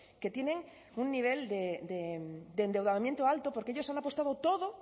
que tienen un nivel de endeudamiento alto porque ellos han apostado todo